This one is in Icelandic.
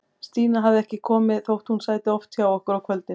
Stína hafði ekkert komið, þótt hún sæti oft hjá okkur á kvöldin.